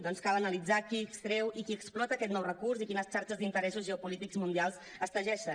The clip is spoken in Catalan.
doncs cal analitzar qui extreu i qui explota aquest nou recurs i quines xarxes d’interessos geopolítics mundials es teixeixen